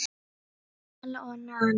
Vala og Nanna.